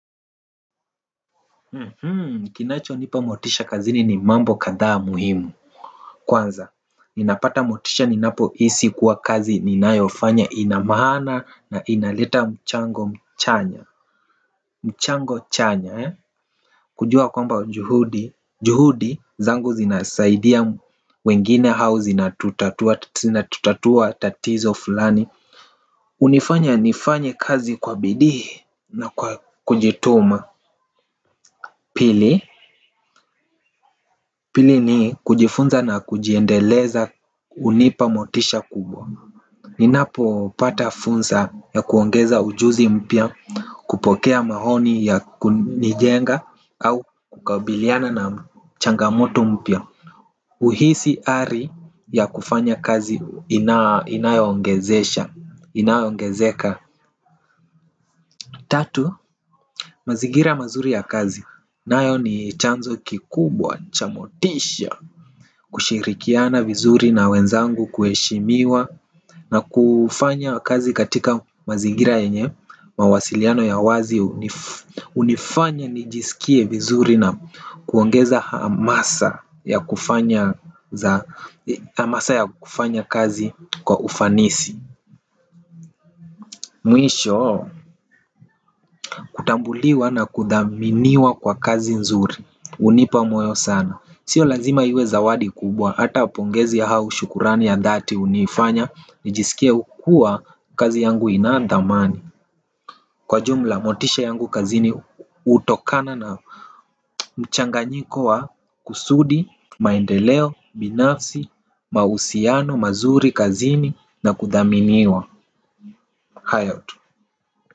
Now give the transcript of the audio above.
Kinachonipa motisha kazini ni mambo kadhaa muhimu. Kwanza, ninapata motisha ninapohisi kuwa kazi ninayofanya ina maana na inaleta mchango mchanya. Mchango chanya eh, kujua kwamba juhudi juhudi zangu zinasaidia wengine au zinatutatua tatizo fulani hunifanya nifanye kazi kwa bidii na kwa kujituma. Pili, pili ni kujifunza na kujiendeleza hunipa motisha kubwa. Ninapopata fursa ya kuongeza ujuzi mpya, kupokea maoni ya kunijenga au kukabiliana na changamoto mpya, huhisi ari ya kufanya kazi inayoongezesha, inayoongezeka. Tatu, mazingira mazuri ya kazi nayo ni chanzo kikubwa cha motisha. Kushirikiana vizuri na wenzangu, kuheshimiwa na kufanya kazi katika mazigira yenye mawasiliano ya wazi hunifanya nijisikie vizuri na kuongeza hamasa ya hamasa ya kufanya kazi kwa ufanisi. Mwisho, kutambuliwa na kuthaminiwa kwa kazi nzuri hunipa moyo sana. Sio lazima iwe zawadi kubwa, hata pongezi ya au shukurani ya dhati hunifanya nijisikie kuwa kazi yangu ina dhamani. Kwa jumla, motisha yangu kazini hutokana na mchanganyiko wa kusudi, maendeleo, binafsi, mahusiano mazuri kazini na kuthaminiwa. Hayo tu.